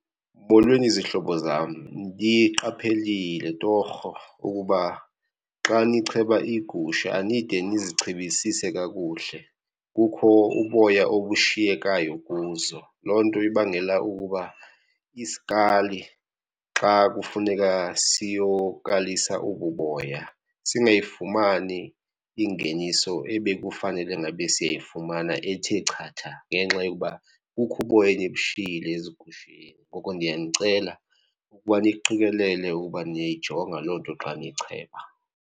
Molweni zihlobo zam, ndiqaphelile torho ukuba xa nicheba iigusha anide nizichebisise kakuhle, kukho uboya obushiyekayo kuzo. Loo nto ibangela ukuba isikali xa kufuneka siyokalisa obu boya singayifumani ingeniso ebekufanele ngabe siyayifumana ethe chatha ngenxa yokuba kukho uboya enibushiyile ezigusheni. Ngoko ndiyanicela ukuba niqikelele ukuba niyayijonga loo nto xa nicheba.